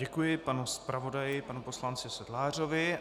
Děkuji panu zpravodaji, panu poslanci Sedlářovi.